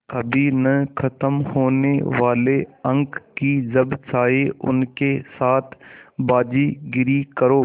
कभी न ख़त्म होने वाले अंक कि जब चाहे उनके साथ बाज़ीगरी करो